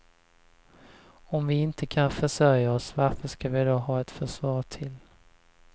Om vi inte kan försörja oss, varför ska vi då ha ett försvar till.